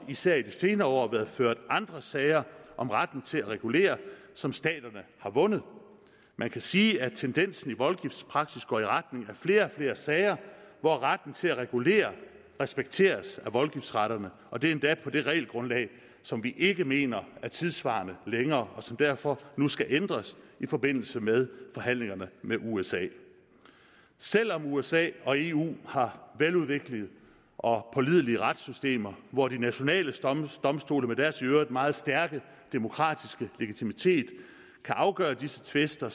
især i de senere år været ført andre sager om retten til at regulere som staterne har vundet man kan sige at tendensen i voldgiftspraksis går i retning af flere og flere sager hvor retten til at regulere respekteres af voldgiftsretterne og det er endda på det regelgrundlag som vi ikke mener er tidssvarende længere og som derfor nu skal ændres i forbindelse med forhandlingerne med usa selv om usa og eu har veludviklede og pålidelige retssystemer hvor de nationale domstole med deres i øvrigt meget stærke demokratiske legitimitet kan afgøre disse tvister